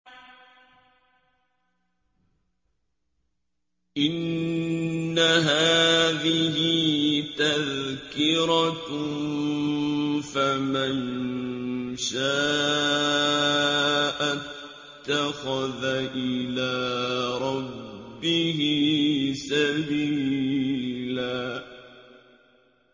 إِنَّ هَٰذِهِ تَذْكِرَةٌ ۖ فَمَن شَاءَ اتَّخَذَ إِلَىٰ رَبِّهِ سَبِيلًا